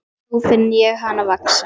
Nú finn ég hana vaxa.